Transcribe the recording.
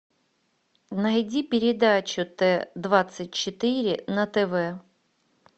найди передачу т двадцать четыре на тв